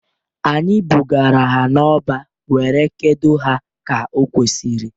Anyị bugara ha n'ọba were kedo ha ka okwesiri.